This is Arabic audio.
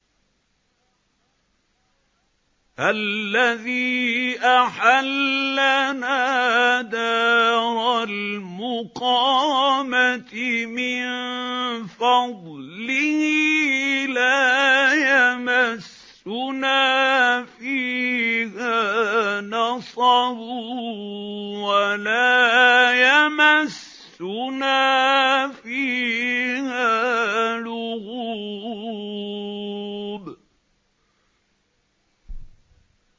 الَّذِي أَحَلَّنَا دَارَ الْمُقَامَةِ مِن فَضْلِهِ لَا يَمَسُّنَا فِيهَا نَصَبٌ وَلَا يَمَسُّنَا فِيهَا لُغُوبٌ